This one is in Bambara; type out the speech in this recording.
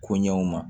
Ko ɲɛw ma